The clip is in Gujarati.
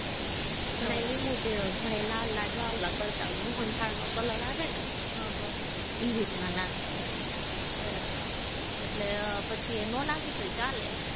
ઘણાય લીંબુ પીવે ને ઘણાય લાલ લાડવા ઓલા કરતા હોય, મોહનથાળનો color આવે ને રીતના નાખે, એટલે પછી નો નાખી તો ચાલે